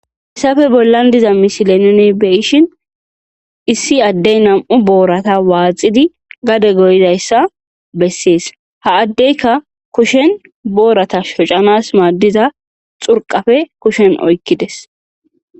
hessafe bollan diza mishile nine beyishin issi addey nam7u boorata waaxidi gade goyidayssa bessees ha addeyka kushen boorata shocanas maaddiza xurqafe kushen oykkides